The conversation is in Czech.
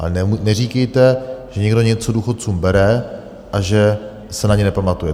A neříkejte, že někdo něco důchodcům bere a že se na ně nepamatuje.